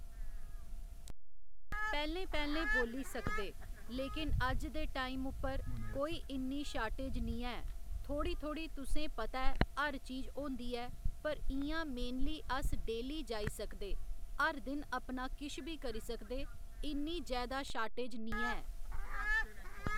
पैह्‌लें पैह्‌लें बोल्ली सकदे लेकिन अज्ज दे टाइम उप्पर कोई इन्नी शार्टेज निं ऐ थोह्ड़ी थोह्ड़ी तुसें पता ऐ हर चीज होंदी ऐ पर इ'यां मेनली अस डेली जाई सकदे हर दिन अपना किश बी करी सकदे इन्नी जैदा शार्टेज निं है।